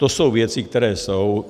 To jsou věci, které jsou.